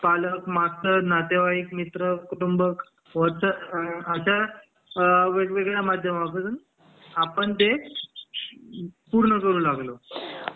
पालक मास्तर नातेवाईक मित्र कुटुंब अश्या वेगवेगळ्या माध्यमातून आपण ते पूर्ण करू लागलो